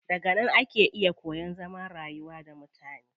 Daga nan ake iya koyan zaman rayuwa da mutane.